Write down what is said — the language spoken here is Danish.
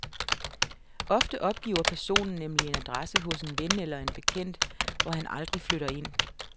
Ofte opgiver personen nemlig en adresse hos en ven eller en bekendt, hvor han aldrig flytter ind.